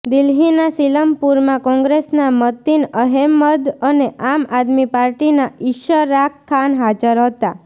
દિલ્હીના સીલમપુરમાં કોંગ્રેસના મતિન અહેમદ અને આમ આદમી પાર્ટીના ઇશરાક ખાન હાજર હતા